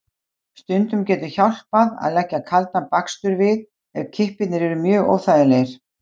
Stundum getur hjálpað að leggja kaldan bakstur við ef kippirnir eru mjög óþægilegir.